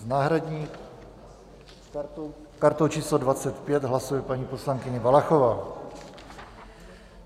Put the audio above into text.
S náhradní kartou číslo 25 hlasuje paní poslankyně Valachová.